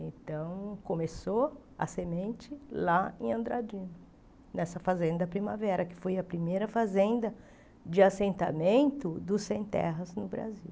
Então, começou a semente lá em Andradino, nessa fazenda Primavera, que foi a primeira fazenda de assentamento dos sem-terras no Brasil.